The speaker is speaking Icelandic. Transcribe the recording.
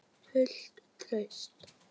Fullt traust?